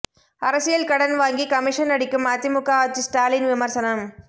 அரசியல் கடன் வாங்கி கமிஷன் அடிக்கும் அதிமுக ஆட்சி ஸ்டாலின் விமர்சனம்